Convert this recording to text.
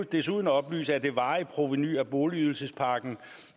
desuden oplyse at det varige provenu af boligydelsespakken